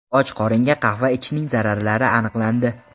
Och qoringa qahva ichishning zararlari aniqlandi.